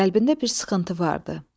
Qəlbində bir sıxıntı vardı.